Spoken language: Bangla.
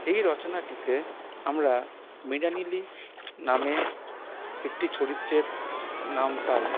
এই রচনাটিতে আমরা মৃণালিনী নামের একটি চরিত্রের নাম পাই।